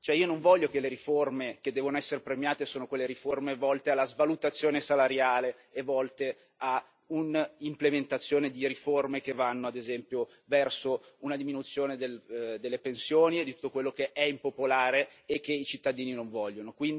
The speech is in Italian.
Io non voglio che le riforme che devono essere premiate siano quelle riforme volte alla svalutazione salariale e volte a un'implementazione di riforme che vanno, ad esempio, verso una diminuzione delle pensioni e di tutto quello che è impopolare e che i cittadini non vogliono.